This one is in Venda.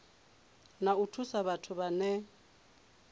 na u thusa vhathu vhane